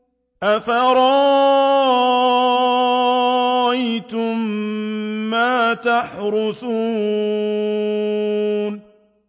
أَفَرَأَيْتُم مَّا تَحْرُثُونَ